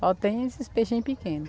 Só tem esses peixinhos pequenos.